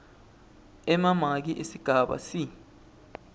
emamaki esigaba c